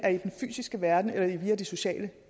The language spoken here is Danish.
fysiske verden eller via de sociale